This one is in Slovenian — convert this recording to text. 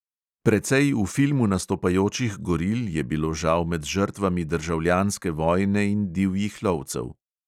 Precej v filmu nastopajočih goril je bilo žal med žrtvami državljanske vojne in divjih lovcev.